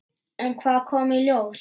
En hvað kom í ljós?